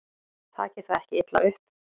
Takið það ekki illa upp.